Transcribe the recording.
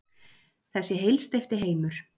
Þessi heilsteypti heimur.